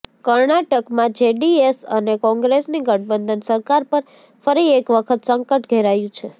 કર્ણાટકમાં જેડીએસ અને કોંગ્રેસની ગઠબંધન સરકાર પર ફરી એક વખત સંકટ ઘેરાયુ છે